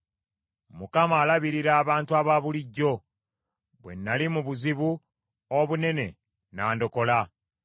Mukama alabirira abantu abaabulijjo; bwe nnali mu buzibu obunene, n’andokola.